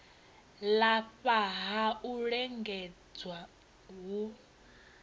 lafha ha u lingedza hu